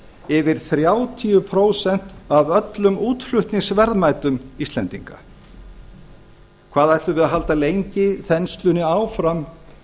yfir þrjátíu prósent af öllum útflutningsverðmætum íslendinga hvað ættum við að halda lengi þenslunni áfram